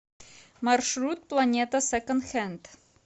маршрут планета секонд хенд